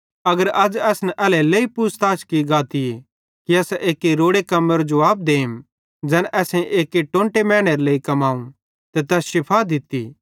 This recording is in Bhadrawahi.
अगर अज़ असन एल्हेरेलेइ पूछ ताछ की गातीए कि असां एक्की रोड़े कम्मेरो जुवाब देम ज़ैन असेईं एक्की टोंटे मैनेरे लेइ कमाव ते तैस शिफ़ा दित्ती